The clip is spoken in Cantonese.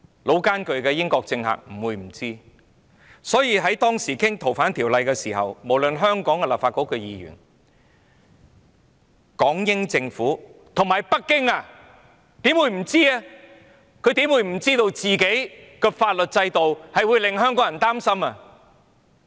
老練的英國政客不會不知道，所以當時討論《逃犯條例草案》時，無論是香港的立法局議員、港英政府或北京，怎會不知道內地的法律制度令香港人擔心？